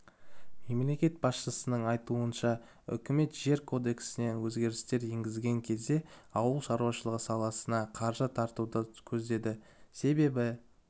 мемлекет басшысының айтуынша үкімет жер кодексіне өзгерістер енгізген кезде ауыл шаруашылығы саласына қаржы тартуды көздеді себебі